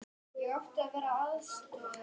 Svend, hver syngur þetta lag?